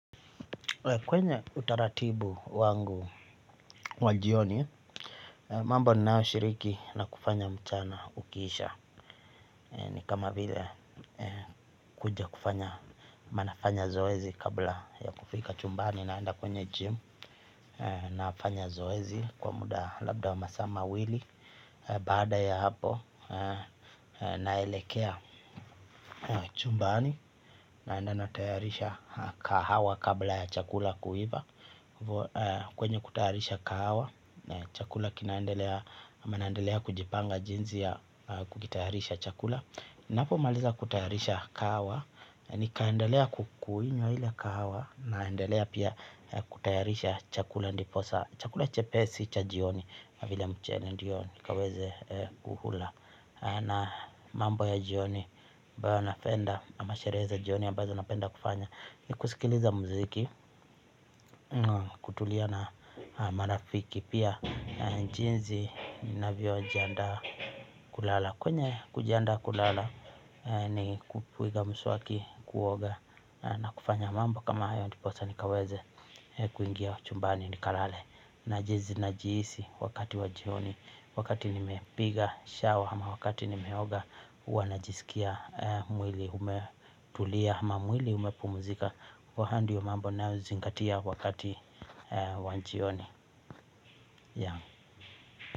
Kwenye utaratibu wangu wa jioni, mambo ninayo shiriki na kufanya mchana ukiisha ni kama vile kuja kufanya manafanya zoezi kabla ya kufika chumbani naenda kwenye gym. Naafanya zoezi kwa muda labda wa masa mawili. Baada ya hapo naelekea chumbani naenda natayarisha kahawa kabla ya chakula kuiva kwenye kutayarisha kahawa na chakula kinaendelea ama naendelea kujipanga jinzi ya kukitayarisha chakula napo maliza kutayarisha kahawa ni kaendelea kukuinywa ile kahawa naendelea pia kutayarisha chakula chakula chepesi cha jioni vile mchele ndio nikaweze kuhula na mambo ya jioni ambayo napenda ama sheree za jioni ambazo napenda kufanya ni kusikiliza mziki kutulia na marafiki pia jinzi navyo jianda kulala kwenye kujanda kulala ni kupiga msuaki kuoga na kufanya mambo kama ayo ndiposa nikaweze kuingia chumbani nikalale najizi najiisi wakati wa jioni wakati nimepiga shawa ama wakati nimeoga huwa najisikia mwili umetulia ama mwili umepumuzika waha ndio mambo nayo zingatia wakati wa njioni.